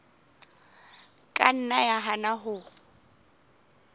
ka nna ya hana ho